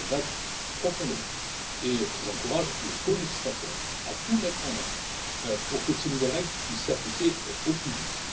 Je le regrette profondément et j'encourage les colégislateurs à tout mettre en œuvre pour que ces nouvelles règles puissent s'appliquer au plus vite.